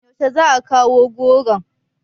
Yaushe za a kawo goron?